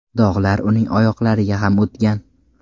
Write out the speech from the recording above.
Dog‘lar uning oyoqlariga ham o‘tgan.